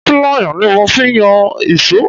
Pilaya ni mo fi yọ iso.